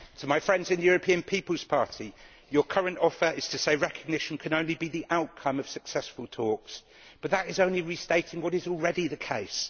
To my friends in the European People's Party, your current offer is to say that recognition can only be the outcome of successful talks, but that is only restating what is already the case.